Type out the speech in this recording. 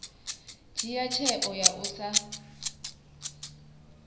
dzhia tsheo ya u sa